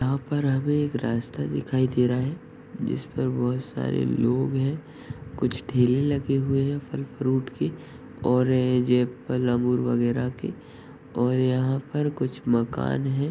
यहाँ पर हमे एक रास्ता दिखाई दे रहा है| जिस पर बहोत सारे लोग हैं| कुछ ठेले लगे हुए है| फल फ्रूट के और जे एप्पल अंगुर वगेरा के और यहाँ पर कुछ मकान है।